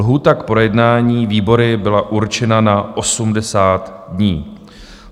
Lhůta k projednání výbory byla určena na 80 dní.